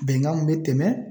Bɛnkan min be tɛmɛ